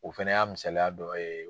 O fɛnɛ y'a misaliya dɔ ye